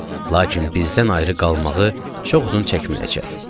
Lakin bizdən ayrı qalmağı çox uzun çəkməyəcək.